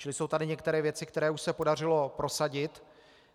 Čili jsou tady některé věci, které už se podařilo prosadit.